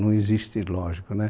Não existe, lógico, né?